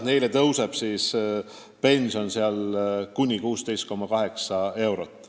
Neil tõuseb pension kuni 16,8 eurot.